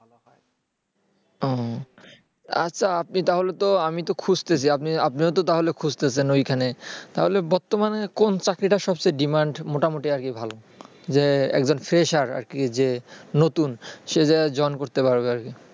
আচ্ছা আপনি তাহলে তো আমি তো খুঁজতাছি আপনিও তো তাহলে খুঁজতাছেন ওইখানে তাহলে বর্তমানে কোন চাকরি টা সবচেয়ে demand মোটামুটি আরকি ভাল যে একজন fresher একজন নতুন সে যেন join করতে পারে ।